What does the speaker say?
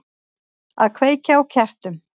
Að kveikja á kertum.